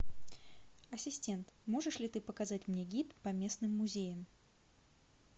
ассистент можешь ли ты показать мне гид по местным музеям